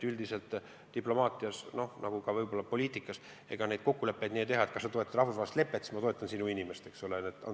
Üldiselt diplomaatias, nagu ka võib-olla poliitikas, kokkuleppeid nii ei tehta, et kui sa toetad rahvusvahelist lepet, siis ma toetan sinu inimest.